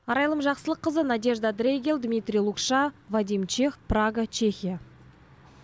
арайлым жақсылыққызы надежда дрейгал дмитрий лукша вадим чех прага чехия